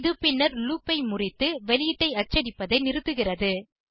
இது பின்னர் லூப் ஐ முறித்து வெளியீட்டை அச்சடிப்பதை நிறுத்துகிறது